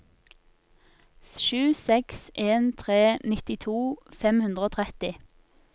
sju seks en tre nittito fem hundre og tretti